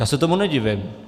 Já se tomu nedivím.